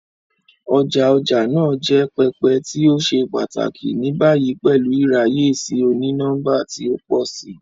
Ọja ọja naa jẹ pẹpẹ ti o ṣe pataki, ni bayi pẹlu iraye si oni-nọmba ti o pọ si.